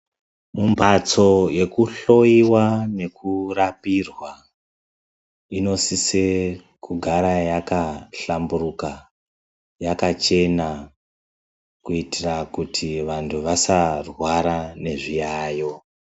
Mhatso yekuhloyiwa nekurapirwa inosise kugara yakahlamburuka, yakachena kuitira kuti vantu vasarwara nezviyaeyo.